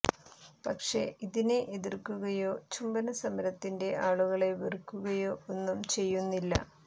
പക്ഷേ ഇതിനെ എതിര്ക്കുകയോ ചുംബന സമരത്തിന്റെ ആളുകളെ വെറുക്കുകയോ ഒന്നും ചെയ്യുന്നില്ല